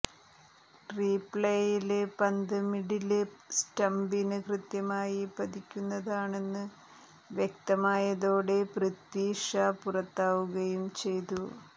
റീപ്ലേയില് പന്ത് മിഡില് സ്റ്റമ്പിന് കൃത്യമായി പതിക്കുന്നതാണെന്ന് വ്യക്തമായതോടെ പൃഥ്വി ഷാ പുറത്താവുകയും ചെയ്തു